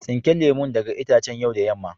Tsinke lemun daga itacen yau da yamma.